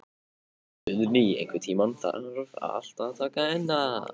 Guðni, einhvern tímann þarf allt að taka enda.